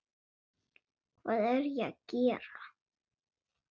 Hvað er ég að gera?